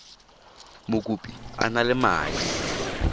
mokopi a na le madi